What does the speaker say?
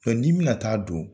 ni n bɛna ta'a don